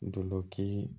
Dulɔki